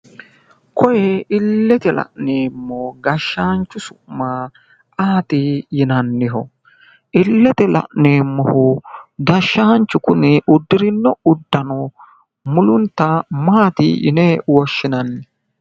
Kuni illete la'neemmo gashshaanchi su'mi ayeeti yinanniho? illete la'neemmohu gashshaanchu kuni uddirino uddano mulunta maati yine woshshinanni